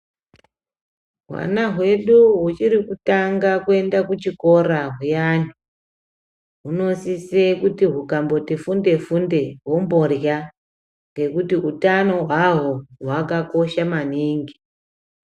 Hwana hwedu huchiri kutanga kuenda kuchikora huyani, hunosise kuti hukamboti funde funde hwomborya ngekuti hutano hwahwo hwakakosha maningi.